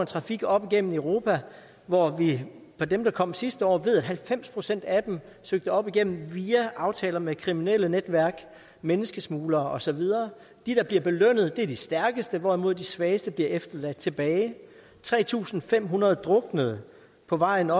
trafik op igennem europa hvor vi fra dem der kom sidste år ved at halvfems procent af dem søgte op igennem via aftaler med kriminelle netværk menneskesmuglere og så videre de der bliver belønnet er de stærkeste hvorimod de svageste bliver ladt tilbage tre tusind fem hundrede druknede på vejen